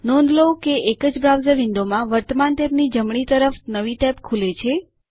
નોંધ લો કે એક જ બ્રાઉઝર વિંડોમાં વર્તમાન ટેબની જમણી તરફ નવી ટેબ ખુલે છે